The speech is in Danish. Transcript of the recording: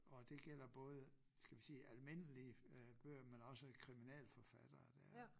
Og det gælder både skal vi sige almindelige øh bøger men også kriminalforfattere dér